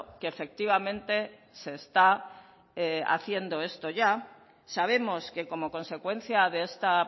que efectivamente se está haciendo esto ya sabemos que como consecuencia de esta